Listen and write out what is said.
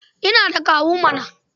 Ina da kawu mana.